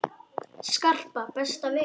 Skarpa, besta vin þinn!